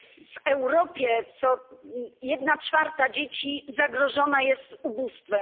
W Europie jedna czwarta dzieci zagrożona jest ubóstwem